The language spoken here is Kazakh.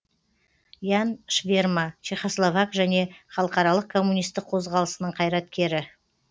ян шверма чехословак және халықаралық коммунистік қозғалысының қайраткері